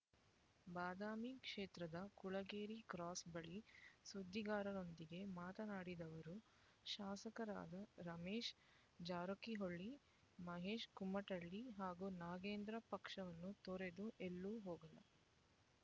ಬಾದಾಮಿ ಕ್ಷೇತ್ರದ ಕುಳಗೇರಿ ಕ್ರಾಸ್ ಬಳಿ ಸುದ್ದಿಗಾರರೊಂದಿಗೆ ಮಾತನಾಡಿದ ಅವರು ಶಾಸಕರಾದ ರಮೇಶ ಜಾರಕಿಹೊಳಿ ಮಹೇಶ ಕುಮಟಳ್ಳಿ ಹಾಗೂ ನಾಗೇಂದ್ರ ಪಕ್ಷವನ್ನು ತೊರೆದು ಎಲ್ಲೋ ಹೋಗಲ್ಲ